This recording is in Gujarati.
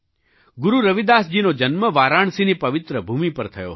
ગુરુ રવિદાસજીનો જન્મ વારાણસીની પવિત્ર ભૂમિ પર થયો હતો